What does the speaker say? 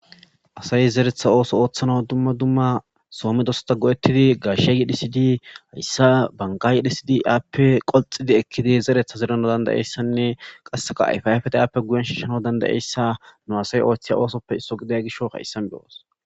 asay zeretha ooso ooththana dumma dumma soomedosta go7ettidi gashegi dhisidi hayssa bangaayi dhisidi aappe qolxidi ekkidi zeretha zerana dandayeyssanne qasseka ayfaafeta aappe guyen shiishano dandayeyssa nu asay ooththiya oosoppe isso giday gisho haissan beyoos